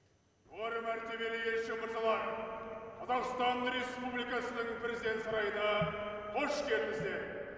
жоғары мәртебелі елші мырзалар қазақстан республикасының президент сарайына қош келдіңіздер